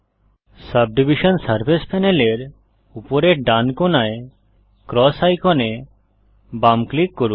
subdivision surface প্যানেলের উপরের ডান কোণায় ক্রস আইকনে বাম ক্লিক করুন